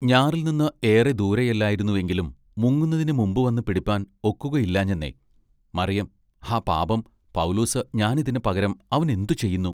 ഞാറിൽ നിന്ന് ഏറെ ദൂരെയല്ലായിരുന്നു എങ്കിലും മുങ്ങുന്നതിനു മുമ്പുവന്നു പിടിപ്പാൻ ഒക്കുകയില്ലാഞ്ഞെനെ മറിയം ഹാ പാപം പൗലോസ് ഞാനിതിന് പകരം അവനെന്തു ചെയ്യുന്നു.